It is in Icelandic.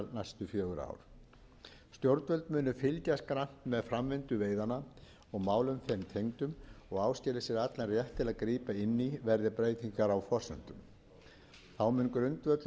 fjögur ár stjórnvöld munu fylgjast grannt með framvindu veiðanna og málum þeim tengdum og áskilja sér allan rétt til að grípa inn í verði breytingar á forsendum þá mun grundvöllur hvalveiða verða